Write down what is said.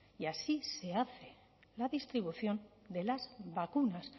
y así se hace la distribución de las vacunas